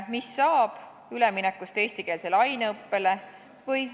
Mis saab üleminekust eestikeelsele aineõppele?